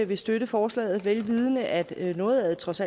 vil støtte forslaget vel vidende at noget af det trods